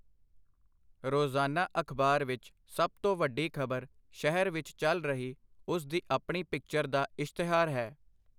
ਰੋਜ਼ਾਨਾ ਅਖਬਾਰ ਵਿਚ ਸਭ ਤੋਂ ਵੱਡੀ ਖਬਰ ਸ਼ਹਿਰ ਵਿਚ ਚੱਲ ਰਹੀ ਉਸ ਦੀ ਆਪਣੀ ਪਿਕਚਰ ਦਾ ਇਸ਼ਤਿਹਾਰ ਹੈ.